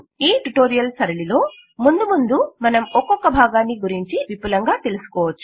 ఈ ట్యుటోరియల్ సరళిలో ముందు ముందు మనం ఒక్కొక్క భాగాన్ని విపులంగా తెలుసుకోవచ్చు